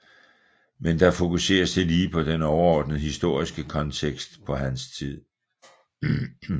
Men der fokuseres tillige på den overordnede historiske kontekst på hans tid